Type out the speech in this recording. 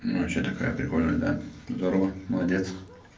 ну что такая прикольная да здорово молодец